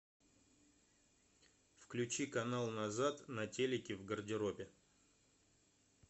включи канал назад на телике в гардеробе